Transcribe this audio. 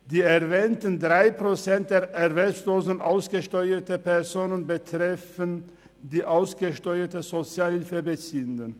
Die erwähnten Prozent der erwerbslosen, ausgesteuerten Personen betreffen die ausgesteuerten Sozialhilfebeziehenden.